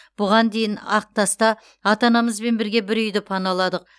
бұған дейін ақтаста ата анамызбен бірге бір үйді паналадық